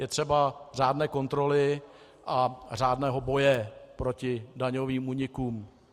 Je třeba řádné kontroly a řádného boje proti daňovým únikům.